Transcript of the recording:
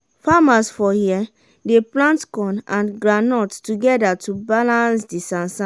farmers for here dey plant corn and groundnut togeda to balance di sansan.